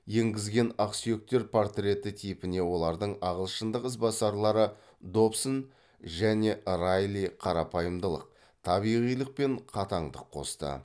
енгізген ақсүйектер портреттері типіне олардың ағылшындық ізбасарлары добсон және райли қарапайымдылық табиғилық пен қатаңдық қосты